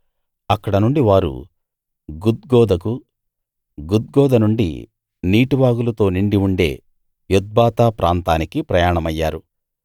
అక్కడ నుండి వారు గుద్గోదకు గుద్గోద నుండి నీటివాగులతో నిండి ఉండే యొత్బాతా ప్రాంతానికి ప్రయాణమయ్యారు